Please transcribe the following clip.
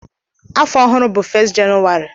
Afọ ọhụrụ bụ 1 Jenụwarị